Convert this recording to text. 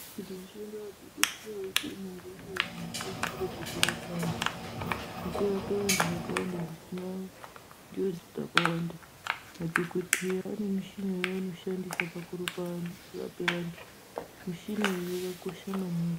Kuti mushamdo wadhokoteya uite nyore uye kuti zvikasire pakurapa antu zvakawanda zvosina njodzi dzakawanda Madhokoteya ane mishina yavanoshandisa pakurapa antu mishina iyi yakakosha maningi